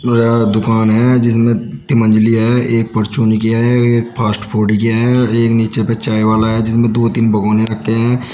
और दुकान है जिसमें तीन मंजिली है एक परचून की है एक फास्ट फूड की और एक नीचे पे चाय वाला है जिसमें दो तीन भगौने रखें हैं।